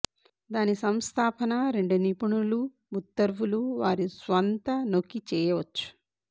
దాని సంస్థాపనా రెండు నిపుణులు ఉత్తర్వులూ వారి స్వంత నొక్కి చేయవచ్చు